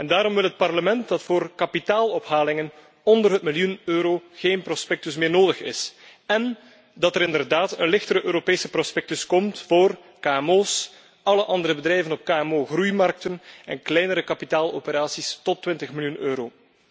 Daarom wil het Parlement dat voor kapitaalophalingen onder een miljoen euro geen prospectus meer nodig is en dat er inderdaad een lichter Europees prospectus komt voor kmo's, alle andere bedrijven op kmo groeimarkten en kleinere kapitaaloperaties tot 20 miljoen euro.